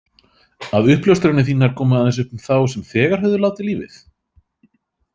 Að uppljóstranir þínar komu aðeins upp um þá sem þegar höfðu látið lífið?